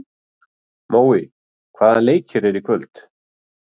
Mói, hvaða leikir eru í kvöld?